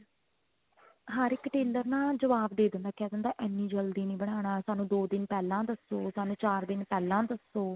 ਹਰ ਇੱਕ tailor ਨਾ ਜਵਾਬ ਦੇ ਦਿੰਦਾ ਕਹਿ ਦਿੰਦਾ ਇੰਨੀ ਜਲਦੀ ਨਹੀਂ ਬਨਾਣਾ ਸਾਨੂੰ ਦੋ ਦਿਨ ਪਹਿਲਾਂ ਦੱਸੋ ਸਾਨੂੰ ਚਾਰ ਦਿਨ ਪਹਿਲਾਂ ਦੱਸੋ